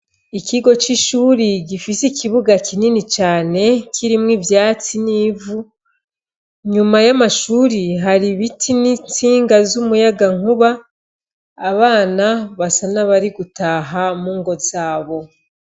Ikigo c'ishuri gifise ikibuga kinini cane kirimwo ivyatsi n'ivu, inyuma y'amashuri hari ibiti n'intsinga z'umuyagankuba, abana basa n'abari gutaha mu ngo zabo.